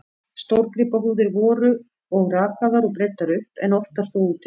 Stórgripahúðir voru og rakaðar og breiddar upp, en oftar þó úti við.